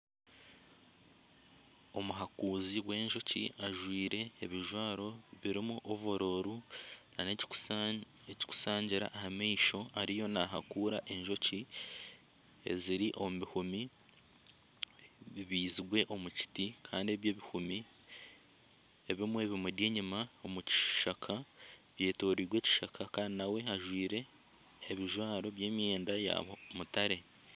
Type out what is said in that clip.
Omuhakuzi w'enjoki ajwaire ebijwaro birimu ovuulo na n'ekikushangira aha maisho ariyo nahakuura enjoki eziri omu buhumi bibaizirwe omu kiti kandi ebi ebihumi ebimwe bimuri enyuma omu kishaka byetorirwe ekishaka kandi naawe ajwaire ebijwaro by'emyenda ya mutare.